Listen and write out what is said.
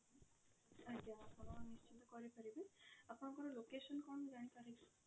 ଆଜ୍ଞା ଆପଣ ନିଶ୍ଚିନ୍ତ କରାଇ ପାରିବି ଆପଣଙ୍କ location କଣ ମୁଁ ଜାଣି ପରେ କି?